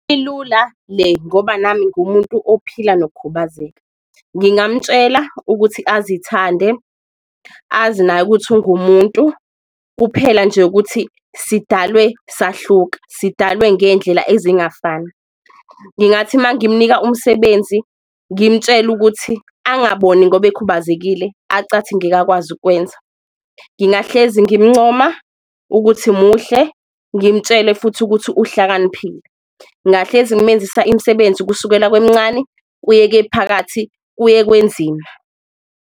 Ilula le ngoba nami ngumuntu ophila nokukhubazeka, ngingamutshela ukuthi azithande, azi naye ukuthi ungumuntu kuphela nje ukuthi sidalwe sahluka, sidalwe ngendlela ezingafani. Ngingathi mangimnika umsebenzi ngimtshele ukuthi angiboni ngoba ekhubazekile acathi angeke akwazi ukwenza, ngingahlezi ngimncoma ukuthi muhle ngimtshele futhi ukuthi uhlakaniphile. Ngahlezi ngimenzisa imisebenzi kusukela kwemncane, kuye kephakathi, kuye kwenzima.